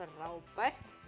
frábært